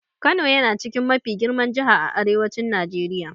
Kano yana chikin mafi girman Jihar a Arewacin Najeriya.